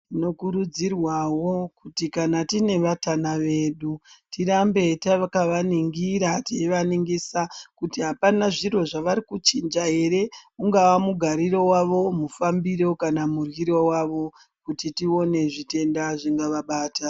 Tinokurudzirwawo kuti kana tine vatana vedu tirambe takavaningira teivaningisa kuti apana zviro zvavari kuchinja ere ungava mugariro wavo mufambiro kana muryiro wavo kuti tione zvitenda zvingavabata